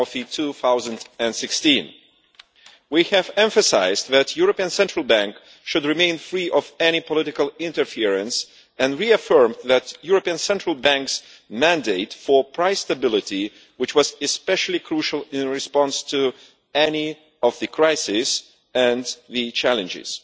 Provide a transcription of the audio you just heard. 2016. We have emphasised that the European Central Bank should remain free of any political interference and reaffirmed the European Central Bank's mandate for price stability, which was especially crucial in response to the crises and the challenges.